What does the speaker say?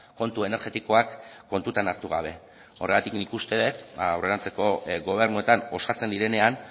kontu energetikoak kontutan hartu gabe horregatik nik uste dut aurrerantzeko gobernuetan osatzen direnean